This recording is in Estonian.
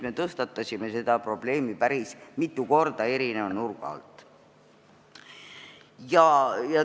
Me tõstatasime selle probleemi päris mitu korda eri nurga alt.